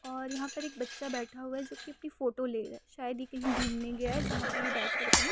और यहाँ पर एक बच्चा बैठा हुआ है जो की अपनी फोटो ले रहा है। शायद ये कहीं घूमने गया है जहाँ पे ये बैठ कर अपनी --